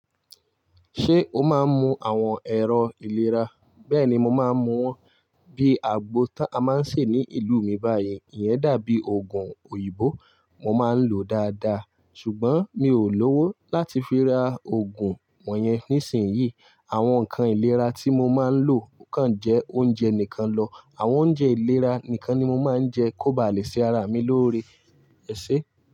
Ṣé o máa ń mu àwọn ẹ̀rọ ìlera? Bẹ́ẹ̀ni, mo máa ń mu wọn bíi àgbo tá a máa ń ṣe ní ìlú mi báyìí. Iyẹn dàbí òògùn òyìnbó, mo máa ń lòó dáadáa. Ṣùgbọ́n mi ò lówó láti fi ra òògùn wọ̀nyẹn nísìnyí. Àwọn nǹkan ìlera tí mo máa ń lò kàn jẹ́ oúnjẹ nìkan lọ. Àwọn oúnjẹ ìlera nìkan ni mo máa ń jẹ kó ba à le ṣe ara mi lóore. Ẹ̀ṣé.